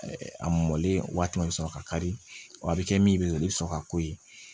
A mɔlen waati bɛ sɔn ka kari o bɛ kɛ min bɛ ka i bɛ sɔn ka ko ye